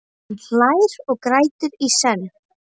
Hann hlær og grætur í senn.